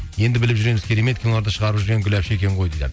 енді біліп жүреміз керемет киноларды шығарып жүрген гүл апше екен гой дейді